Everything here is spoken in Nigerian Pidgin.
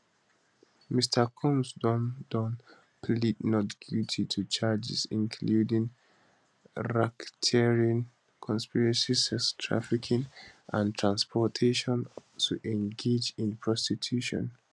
mr combs don don plead not guilty to charges including racketeering conspiracy sex trafficking and transportation to engage in prostitution